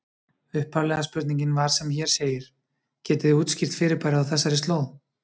Upphaflega spurningin var sem hér segir: Getið þið útskýrt fyrirbærið á þessari slóð?